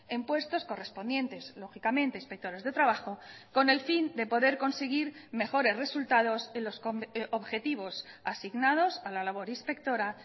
en puestos correspondientes lógicamente inspectores de trabajo con el fin de poder conseguir mejores resultados en los objetivos asignados a la labor inspectora